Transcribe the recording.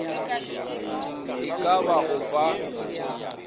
e ka ba o fa